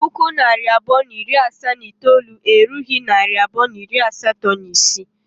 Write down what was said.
puku naira abụọ na iri asaa na itoolu erughị naịra abụọ na iri asatọ na isii.